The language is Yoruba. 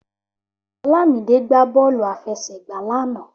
Olamide gbá bọ́ọ̀lù àfẹsẹ̀gba lánàá